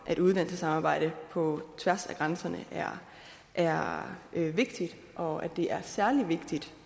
at uddannelsessamarbejde på tværs af grænserne er vigtigt og at det er særlig vigtigt